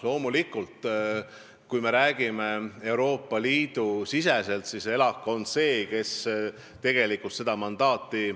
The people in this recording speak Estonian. Loomulikult, Euroopa Liidus Eesti seisukoha tutvustamiseks annab ELAK mandaadi.